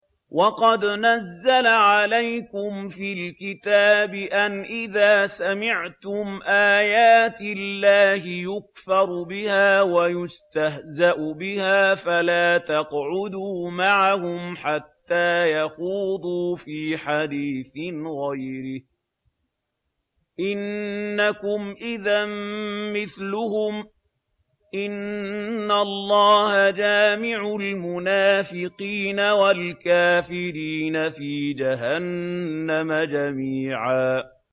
وَقَدْ نَزَّلَ عَلَيْكُمْ فِي الْكِتَابِ أَنْ إِذَا سَمِعْتُمْ آيَاتِ اللَّهِ يُكْفَرُ بِهَا وَيُسْتَهْزَأُ بِهَا فَلَا تَقْعُدُوا مَعَهُمْ حَتَّىٰ يَخُوضُوا فِي حَدِيثٍ غَيْرِهِ ۚ إِنَّكُمْ إِذًا مِّثْلُهُمْ ۗ إِنَّ اللَّهَ جَامِعُ الْمُنَافِقِينَ وَالْكَافِرِينَ فِي جَهَنَّمَ جَمِيعًا